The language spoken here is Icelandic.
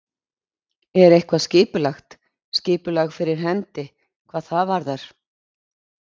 Er eitthvað skipulagt, skipulag fyrir hendi hvað það varðar?